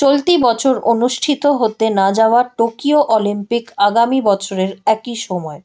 চলতি বছর অনুষ্ঠিত হতে না যাওয়া টোকিও অলিম্পিক আগামী বছরের একই সময়